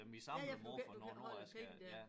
Ja ja for du kan ikke du kan ikke holde æ penge dér